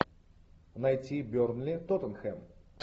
найти бернли тоттенхэм